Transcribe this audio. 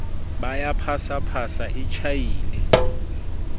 ba ya phasaphasa e tjhaile